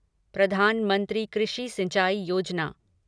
प्रधानमंत्री कृषि सिंचाई योजना